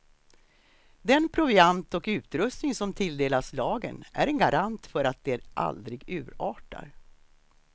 Den proviant och utrustning som tilldelas lagen är en garant för att det aldrig urartar.